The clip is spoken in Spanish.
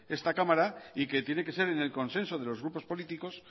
esta cámara y que tiene que ser en el consenso de los grupos políticos